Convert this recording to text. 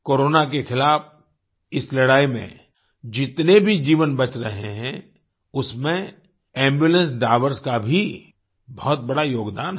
corona के खिलाफ़ इस लड़ाई में जितने भी जीवन बच रहे हैं उसमें एम्बुलेंस ड्राइवर्स का भी बहुत बड़ा योगदान है